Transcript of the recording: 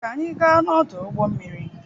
ka anyị gaa n'ọdụ ụgbọ mmiri.